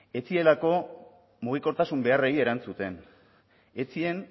ez zirelako mugikortasun beharrei erantzuten ez ziren